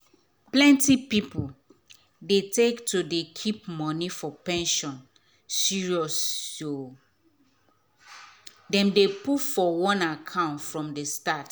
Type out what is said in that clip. plenty pipu dey take to dey keep money for pension seriousso dem dey put for one account from the start.